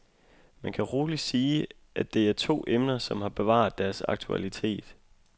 Man kan roligt sige, at det er to emner som har bevaret deres aktualitet.